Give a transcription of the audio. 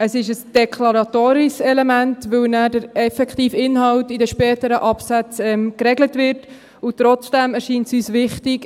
Es ist ein deklaratorisches Element, weil der effektive Inhalt nachher in den späteren Absätzen geregelt wird, und trotzdem erscheint es uns wichtig.